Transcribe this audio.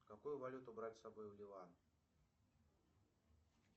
какую валюту брать с собой в ливан